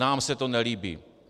Nám se to nelíbí."